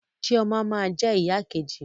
Chioma ma jẹ ìyá ìkejì mi.